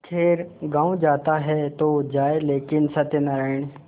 खैर गॉँव जाता है तो जाए लेकिन सत्यनारायण